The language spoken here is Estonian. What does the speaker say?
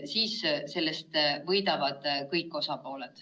Siis võidavad sellest kõik osapooled.